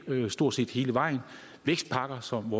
været med stort set hele vejen vækstpakker som